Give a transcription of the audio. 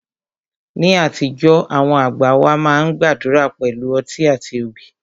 Ní àtijọ́, àwọn àgbà wá máa ń gbàdúrà pẹ̀lú ọtí àti obì